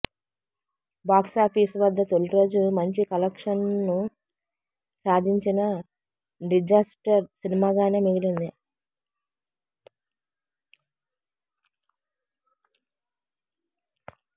box office వద్ద తొలి రోజు మంచి కలెక్షన్స్ను సాధించినా డిజాస్టర్ సినిమాగానే మిగిలింది